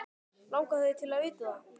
Langar þig til að vita það?